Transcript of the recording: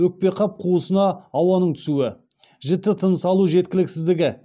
өкпеқап қуысына ауаның түсуі жіті тыныс алу жеткіліксіздігі